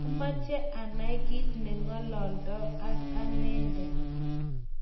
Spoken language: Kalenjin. mameche anai kiit ne ng'olondoi ak anende